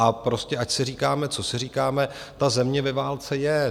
A prostě ať si říkáme, co si říkáme, ta země ve válce je!